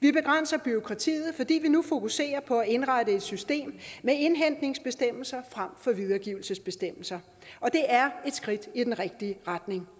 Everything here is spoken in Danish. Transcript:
vi begrænser bureaukratiet fordi vi nu fokuserer på at indrette et system med indhentningsbestemmelser frem for videregivelsesbestemmelser og det er et skridt i den rigtige retning